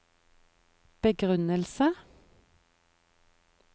begrunnelsen